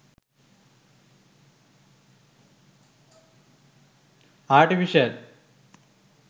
artificial